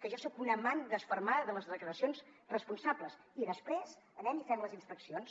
que jo soc una amant desfermada de les declaracions responsables i després anem i fem les inspeccions